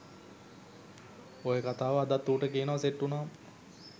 ඔය කතාව අදත් ඌට කියනව සෙට් වුනාම